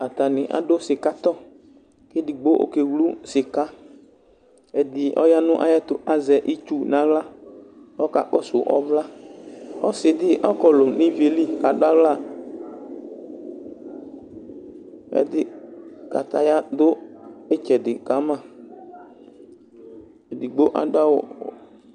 Atanɩ adʋ sɩka tɔ, kedigbo okewlu sɩkaƐdɩ ɔya nayɛtʋ kazɛ itsu naɣla ɔka kɔsʋ ɔvlaKʋ ɔsɩ dɩ ɔkɔlʋ nivie li kadɣla ɛdɩ, kataya dʋ ɩtsɛdɩ ka ma edigbo adʋ awʋ